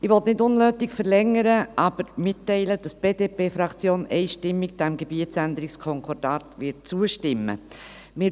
Ich möchte nicht unnötig verlängern, aber mitteilen, dass die BDP-Fraktion diesem Gebietsänderungskonkordat einstimmig zustimmen wird.